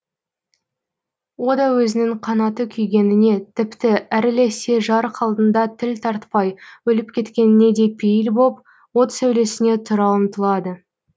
о да өзінің қанаты күйгеніне тіпті әрілесе жарық алдында тіл тартпай өліп кеткеніне де пейіл боп от сәулесіне тұра ұмтылады